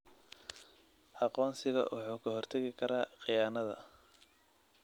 Aqoonsiga wuxuu ka hortagi karaa khiyaanada.